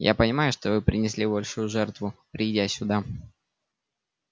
я понимаю что вы принесли большую жертву придя сюда